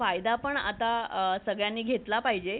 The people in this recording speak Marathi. त्याचा फायदा पण आता सगळ्यांनी घेतला पाहिजे